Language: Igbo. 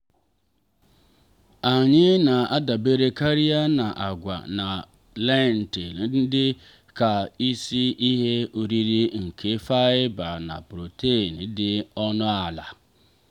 anyị na-adabere karịa na agwa na lentil dị ka isi ihe oriri nke faịba na protein dị ọnụ ala.